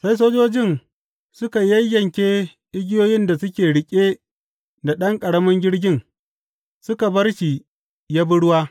Sai sojojin suka yayyanke igiyoyin da suke riƙe da ɗan ƙaramin jirgin, suka bar shi ya bi ruwa.